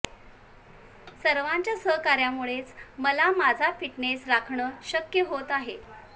सर्वांच्या सहकार्यामुळेच मला माझा फिटनेस राखणं शक्य होत आहे